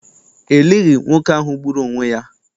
E lighị nwoke ahụ gburu onwe ya.